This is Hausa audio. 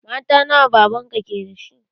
Mata nawa baban ka ke da shi?